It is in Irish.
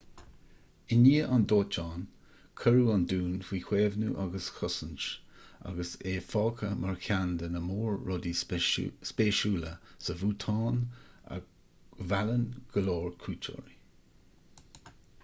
i ndiaidh an dóiteáin cuireadh an dún faoi chaomhnú agus chosaint agus é fágtha mar cheann de na mór rudaí spéisiúla sa bhútáin a mheallann go leor cuairteoirí